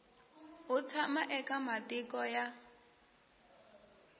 u tshama eka matiko ya